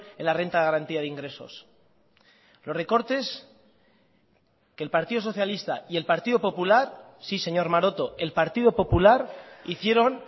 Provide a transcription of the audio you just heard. en la renta de garantía de ingresos los recortes que el partido socialista y el partido popular sí señor maroto el partido popular hicieron